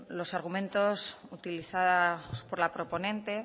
los argumentos utilizados por la proponente